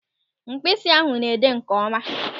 Mkpịsị ahụ na-ede nkeọma.